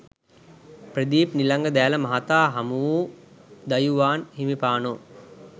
ප්‍රදීප් නිලංග දෑල මහතා හමුවූ දයුවාන් හිමිපාණෝ